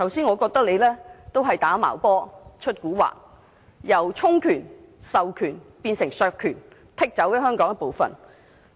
我覺得政府在"打茅波"、"出蠱惑"，由充權、授權變成削權，割出了香港一部分。